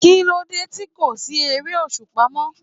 Kí ló dé tí kò fi sí ère-òṣùpá mó?